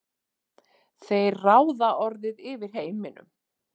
þeir ráða orðið yfir heiminum.